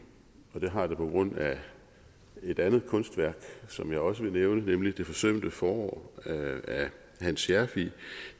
det har det på grund af et andet kunstværk som jeg også vil nævne nemlig det forsømte forår af hans scherfig